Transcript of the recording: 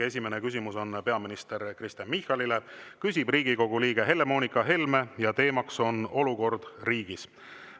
Esimene küsimus on peaminister Kristen Michalile, küsib Riigikogu liige Helle-Moonika Helme ja teema on olukord riigis.